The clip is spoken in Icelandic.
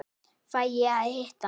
Fæ ég að hitta hana?